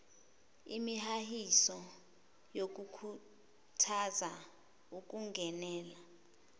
imihahiso yokukhuthaza ukungenela